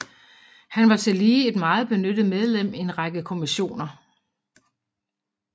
Han var tillige et meget benyttet medlem i en række kommissioner